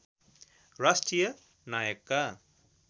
राष्ट्रिय नायकका